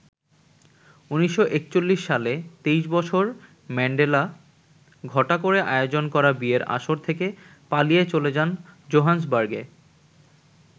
১৯৪১ সালে ২৩ বছর ম্যান্ডেলা ঘটা করে আয়োজন করা বিয়ের আসর থেকে পালিয়ে চলে যান জোহান্সবার্গে।